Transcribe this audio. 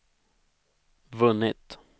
vunnit